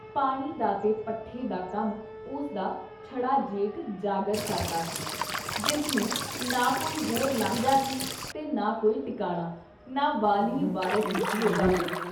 ਪਾਣੀ ਦਾ ਤੇ ਪੱਠੇ ਦਾ ਕੰਮ ਉਸਦਾ ਛੜਾ ਜੇਠ ਜਾਗਰ ਕਰਦਾ ਸੀ, ਜਿਸ ਨੂੰ ਨਾ ਕੋਈ ਹੋਰ ਲਾਂਝਾ ਸੀ ਤੇ ਨਾ ਕੋਈ ਟਿਕਾਣਾ, ਨਾ ਵਾਲੀ ਵਾਰਿਸ ਈ ਸੀ, ਉਹਦਾ ਕੋਈ।